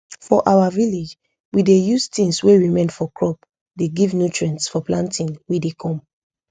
for our village we dey use things wey remain for crop dey give nutrients for planting wey dey come